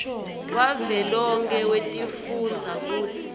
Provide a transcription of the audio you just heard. wavelonkhe wetifundza kutsi